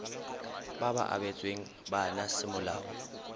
ba ba abetsweng bana semolao